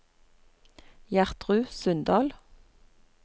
Gjertrud Sundal